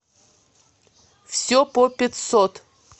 все по пятьсот